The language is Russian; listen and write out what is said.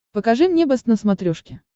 покажи мне бэст на смотрешке